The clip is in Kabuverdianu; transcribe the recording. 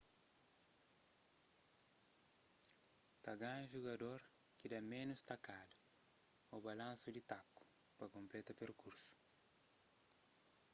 ta ganha judador ki da ménus takada ô balansu di taku pa konpleta perkursu